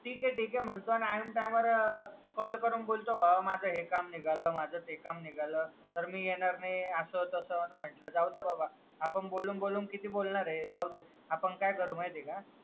ठीके ठीके म्हणतो आणि आईनं टाईमला भाव माझं हे काम निघालं ते काम निघालं तर मी येणार नाय आस तास म्हणंटलं जाऊदे बाबा आपण बोलून बोलून किती बोलणार ए जाऊदे आपण काय करू माहिती ए का